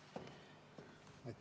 Palun!